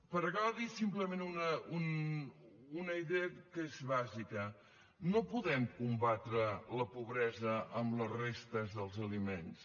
per acabar dir simplement una idea que és bàsica no podem combatre la pobresa amb les restes dels aliments